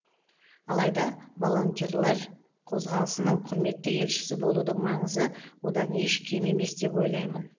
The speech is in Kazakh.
алайда волонтерлар қозғалысының құрметті елшісі болудың маңызы одан еш кем емес деп ойлаймын